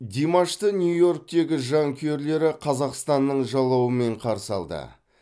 димашты нью иорктегі жанкүйерлері қазақстанның жалауымен қарсы алды